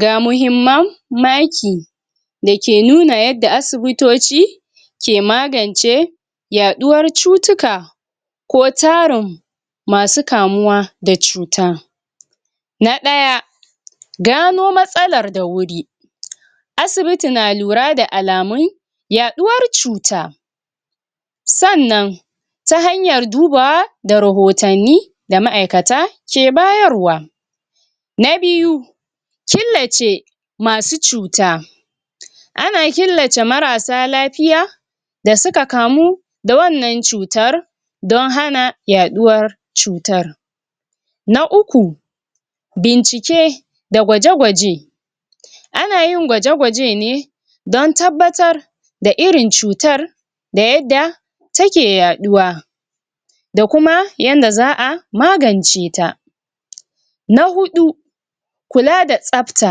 Ga muhimman maki, da ke nuna yadda asibutoci ke magance yaɗuwar cutuka, ko tarin masu kamuwa da cuta. Na ɗaya, gano matsalar da wuri. Asibiti na lura da alamun yaɗuwar cuta, sannan ta hanyar duba da rahotanni da ma'aikata ke bayarwa. Na biyu, killace masu cuta. Ana killace marasa lafiya da suka kamu da wannan cutar, don hana yaɗuwar cutar. Na uku, bincike da gwaje-gwaje. Ana yin gwaje-gwaje ne don tabbatar da irin cutar, da yadda take yaɗuwa, da kuma yanda za a magance ta. Na huɗu, kula da tsafta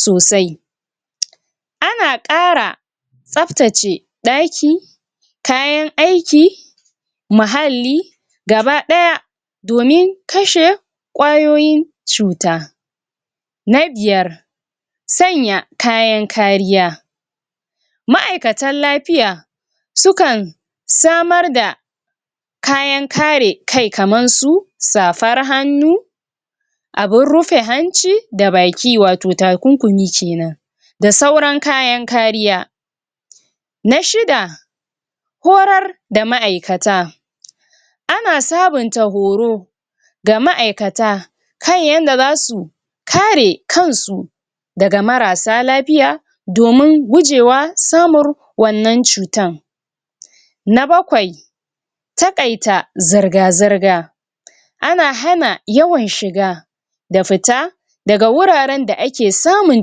sosai. Ana ƙara tsaftace ɗaki, kayan aiki, mahalli gaba ɗaya, domin kashe ƙwayoyin cuta. Na biyar, sanya kayan kariya. Ma'aikatan lafiya su kan samar da kayan kare kai, kama su safar hannu, abun rufe hanci da baki, wato takunkumi kenan, da sauran kayan kariya. Na shida, horar da ma'aikata. Ana sabunta horo ga ma'aikata, kan yanda za su ka re kan su daga marasa lafiya, domun gujewa samun wannan cutan. Na bakwai, taƙaita zirga-zirga. Ana hana yawan shiga da futa daga wuraren da ake samun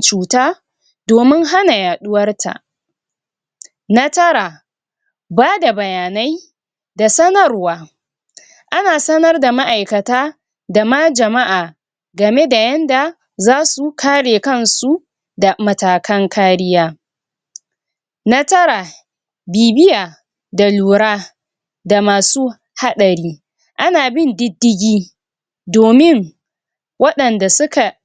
cuta, domun hana yaɗuwar ta. Na tara, bada bayanai da sanarwa. Ana sanar da ma'aikata da ma jama'a, game da yanda za su kare kan su da matakan kariya. Na tara, bibiya da lura, da masu haɗari. Ana bin diddigi domin waɗanda suka